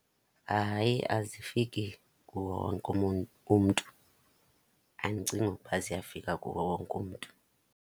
Hayi, azifiki kuwo wonke umntu. Andicingi ukuba ziyafika kuwo wonke umntu.